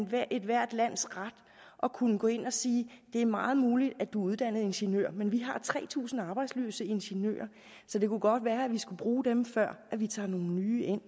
være ethvert lands ret at kunne gå ind og sige det er meget muligt at du er uddannet ingeniør men vi har tre tusind arbejdsløse ingeniører så det kunne godt være at vi skulle bruge dem før vi tager nogle nye ind